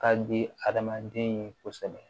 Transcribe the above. Ka di adamaden ye kosɛbɛ